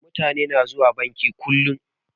Mutani na zuwa banki kullum